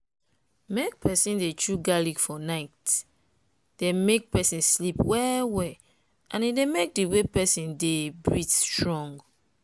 make peson dey chew garlic for night dey make person sleep well well and e dey make di way person dey breath strong.